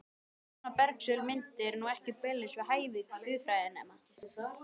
Svona bersögul mynd er nú ekki beinlínis við hæfi guðfræðinema.